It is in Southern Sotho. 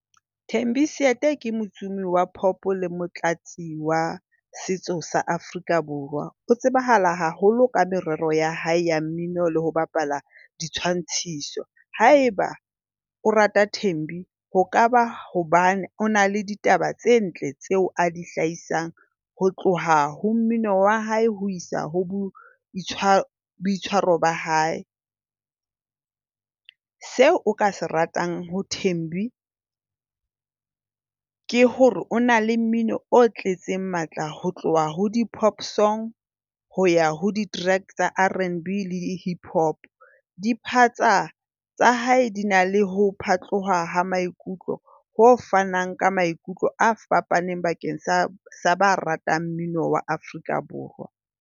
Thembi Seete ke motsomi wa pop le motlatsi wa setso sa Afrika Borwa. O tsebahala haholo ka merero ya hae ya mmino le ho bapala ditshwantshiso. Haeba o rata Thembi ho kaba hobane o na le ditaba tse ntle tseo a di hlahisang ho tloha ho mmino wa hae ho isa ho boitshwaro ba hae. Seo o ka se ratang ho Thembi ke hore o na le mmino o tletseng matla. Ho tloha ho di-pop songs, ho ya ho di-track tsa Rnb le Hip Hop. di-part tsa hae di na le ho phatloha ha maikutlo ho fanang ka maikutlo a fapaneng bakeng sa ba ratang mmino wa Afrika Borwa.